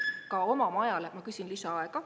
Ma küsin lisaaega.